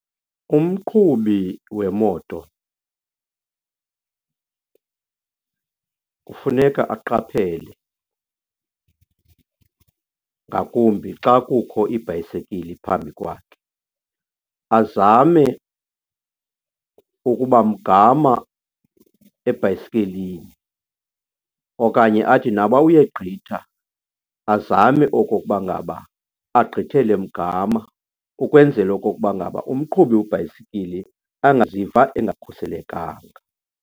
Umqhubi wemoto kufuneka aqaphele, ngakumbi xa kukho ibhayisekili phambi kwakhe. Azame ukuba mgama ebhayisekilini okanye athi naba uyegqitha, azame okokuba ngaba agqithele mgama ukwenzela okokuba ngaba umqhubi webhayisikili angaziva engakhuselekanga.